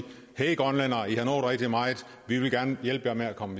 hej grønlændere i har nået rigtig meget vi vil gerne hjælpe jer med at komme